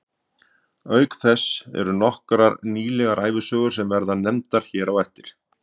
Auk þess eru til nokkrar nýlega ævisögur sem verða nefndar hér á eftir.